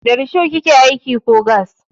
Da risho kike aiki ko gas?